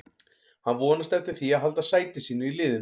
Hann vonast eftir því að halda sæti sínu í liðinu.